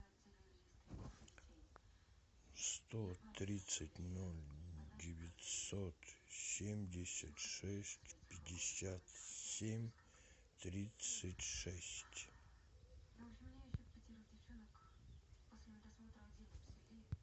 сто тридцать ноль девятьсот семьдесят шесть пятьдесят семь тридцать шесть